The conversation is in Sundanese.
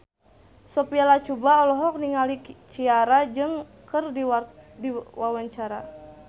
Sophia Latjuba olohok ningali Ciara keur diwawancara